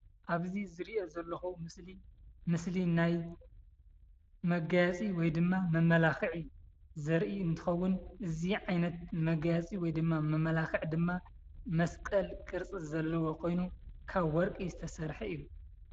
አብዚ ዝርኦ ዘለኩ ምስሊ ምስሊ ናይ መጋየፂ ወይ ድማ መመላኽዒ ዘርኢ እንትኸውን፤ እዚ ዓይነት መጋየፂ ወይ ድማ መመላኽዒ ድማ መስቀል ቅርፂ ዘለዎ ኮይኑ ካብ ወርቂ ዝተሰርሐ እዩ፡፡